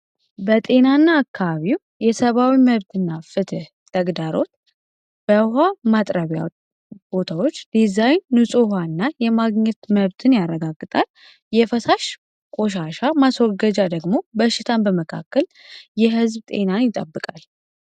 በጤና እና አካባቢው የሰባዊ መብትእና ፍትህ ተግዳሮት በውሃ ማጥረቢያ ቦታዎች ዲዛይን ኑጹ ሃ እና የማግኘት መብትን ያረጋግጣል የፈሳሽ ቆሻሻ ማስወርገጃ ደግሞ በሽታን በመካከል የሕዝብ ጤናን ይጠብቃል።